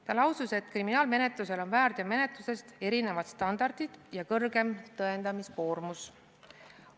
Ta lausus, et kriminaalmenetlusel on väärteomenetlusest erinevad standardid ja kõrgem tõendamiskoormus.